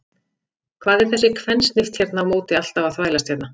Hvað er þessi kvensnift hérna á móti alltaf að þvælast hérna?